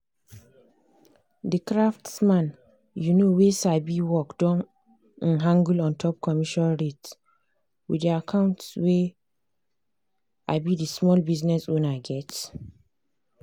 the craftsman um wey sabi work don um haggle ontop commission rates with the account wey um the small business owner get.